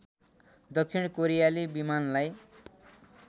दक्षिण कोरियाली विमानलाई